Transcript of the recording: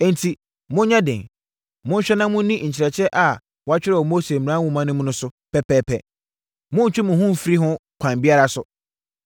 “Enti, monyɛ den! Monhwɛ na monni nkyerɛkyerɛ a wɔatwerɛ wɔ Mose Mmara Nwoma no mu no so pɛpɛɛpɛ. Monntwe mo ho mfiri ho kwan biara so.